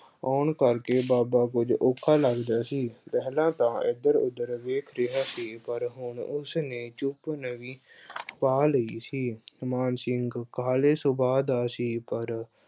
ਆਉਣ ਕਰਕੇ ਬਾਬਾ ਕੁੱਝ ਔਖਾ ਲੱਗਦਾ ਸੀ, ਪਹਿਲਾਂ ਤਾਂ ਇੱਧਰ-ਉੱਧਰ ਵੇਖ ਰਿਹਾ ਸੀ ਪਰ ਹੁਣ ਉਸਨੇ ਚੁੱਪ, ਨੀਂਵੀ ਅਹ ਪਾ ਲਈ ਸੀ। ਮਾਨ ਸਿੰਘ ਕਾਹਲੇ ਸੁਭਾਅ ਦਾ ਸੀ ਪਰ